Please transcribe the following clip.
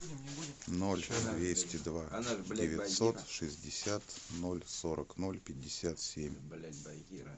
ноль двести два девятьсот шестьдесят ноль сорок ноль пятьдесят семь